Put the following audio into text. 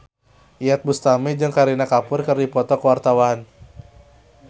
Iyeth Bustami jeung Kareena Kapoor keur dipoto ku wartawan